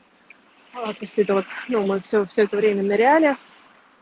а вот после этого вот всё все это время ныряли